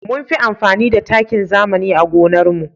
Munfi amfani da takin zamani a gonar mu